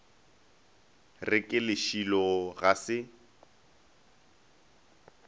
re ke lešilo ga se